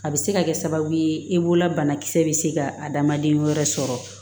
A bɛ se ka kɛ sababu ye e bolola banakisɛ bɛ se ka adamaden wɛrɛ sɔrɔ